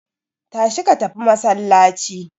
Tashi ka tafi masallaci.